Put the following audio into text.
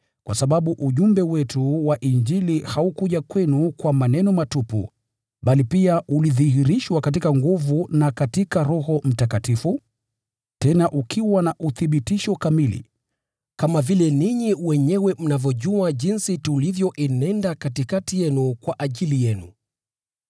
kwa sababu ujumbe wetu wa Injili haukuja kwenu kwa maneno matupu bali pia ulidhihirishwa katika nguvu na katika Roho Mtakatifu, tena ukiwa na uthibitisho kamili, kama vile ninyi wenyewe mnavyojua jinsi tulivyoenenda katikati yenu kwa ajili yenu.